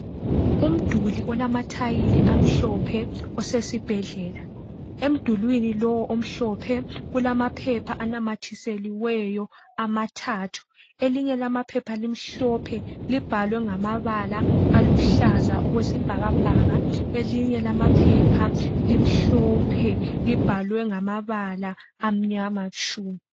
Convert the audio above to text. Umduli olamathayili amhlophe osesibhedlela, emdulwini lowo omhlophe kulamaphepha anamathiseliweyo amathathu. Elinye lamaphepha limhlophe libhalwe ngamabala oluhlaza okwesibhakabhaka elinye lamaphepha limhlophe libhalwe ngamabala amnyama tshu.